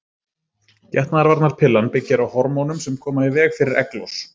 Getnaðarvarnarpillan byggir á hormónum sem koma í veg fyrir egglos.